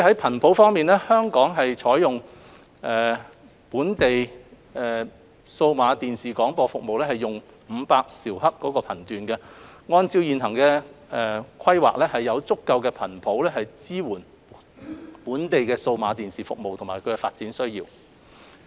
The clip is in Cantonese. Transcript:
頻譜方面，香港採用本地數碼電視廣播服務為500兆赫頻段，按照現行規劃，有足夠的頻譜支援本地的數碼電視服務和發展需要。